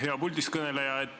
Hea puldist kõneleja!